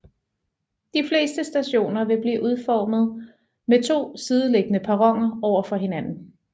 De fleste stationer vil blive udformet med to sideliggende perroner overfor hinanden